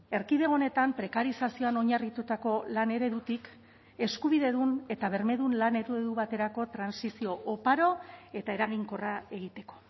erkidego honetan prekarizazioan oinarritutako lan eredutik eskubidedun eta bermedun lan eredu baterako trantsizio oparo eta eraginkorra egiteko